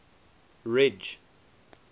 ridge